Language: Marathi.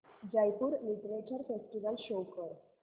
जयपुर लिटरेचर फेस्टिवल शो कर